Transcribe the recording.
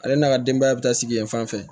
Ale n'a ka denbaya bɛ taa sigi yen fan fɛ